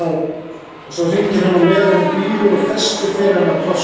Og svo hringir hann á meðan hún bíður og festir fyrir hana plássið.